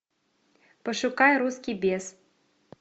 пошукай русский бес